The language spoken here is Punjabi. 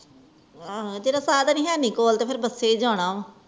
ਆਹੂ ਜਦੋ ਸਾਧਨ ਹੀ ਹੈਂ ਨੀ ਕੋਲ ਤੇ ਫੇਰ ਬੱਸੇ ਹੀ ਜਾਣਾ